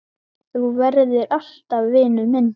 Þú verður alltaf vinur minn.